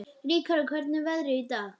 Rikharður, hvernig er veðrið í dag?